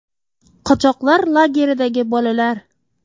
Qochoqlar lageridagi bolalar.